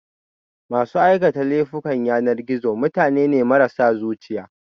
masu aikata laifukan yanar gizo mutane ne marasa zuciya